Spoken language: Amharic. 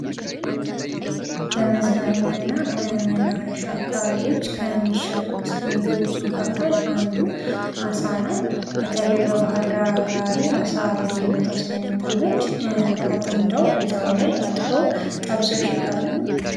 በመዝናኛና መናፈሻ አካባቢዎች ከሚሸጡት ምግቦች መካከል አንዱ አሳ ነዉ። በተለይ በባህርዳር አካባቢ አሳ በየቦታዉ ስለሚጠመድ አጥምደዉ እዚያዉ ላይ አጥበዉ ጠብሰዉ ይሸጣሉ።